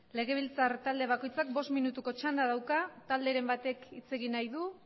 legebiltzar talde bakoitzak bost minutuko txanda dauka talderen batek hitz egin nahi du